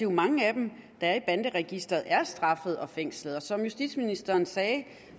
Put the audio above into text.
mange af dem der er i banderegisteret er straffet og fængslet og som justitsministeren sagde er